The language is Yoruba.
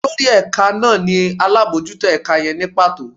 Olorí ẹka naa ni alabọjuto ẹka yẹn nī pato